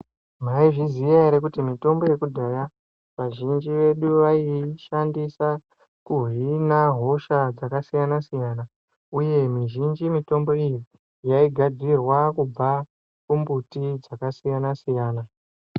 Maizviziya ere kuti mitombo yekudhaya, vazhinji vedu vaiishandisa kuhina hosha dzakasiyana-siyana, uye mizhinji mitombo iyi yaigadzirwa kubva kumbuti dzaakasiyana-siyana.